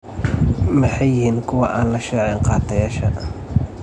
Maxay yihiin kuwa aan la shaacin-qaatayaasha?